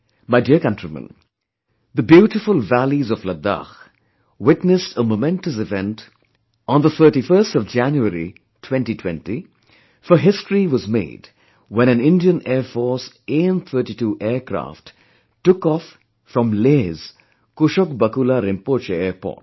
My dear countrymen, the beautiful valleys of Ladakh witnessed a momentous event on the 31st of January 2020, for History was made when an Indian Air Force AN32 aircraft took off from Leh's Kushok Bakula Rimpoche Airport